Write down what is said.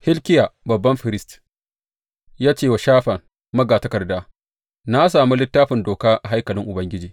Hilkiya babban firist ya ce wa Shafan magatakarda, Na sami Littafin Doka a haikalin Ubangiji.